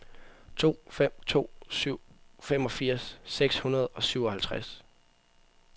to fem to syv femogfirs seks hundrede og syvoghalvtreds